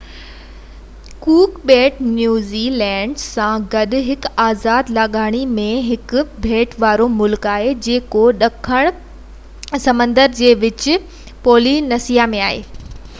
ڪوڪ ٻيٽ New Zealand سان گڏ هڪ آزاد لاڳاپي ۾ هڪ ٻيٽ وارو ملڪ آهي جيڪو ڏکڻ پئسفڪ سمنڊ جي وچ پولي نيسيا ۾ آهي